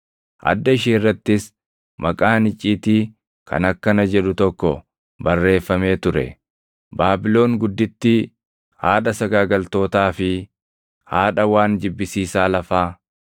Adda ishee irrattis maqaan icciitii kan akkana jedhu tokko barreeffamee ture: Baabilon Guddittii, Haadha Sagaagaltootaa fi, Haadha waan Jibbisiisaa Lafaa.